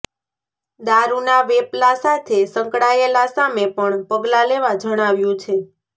દારૂના વેપલા સાથે સંકળાયેલા સામે પણ પગલાં લેવા જણાવ્યું છે